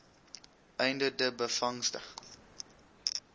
einde de byvangste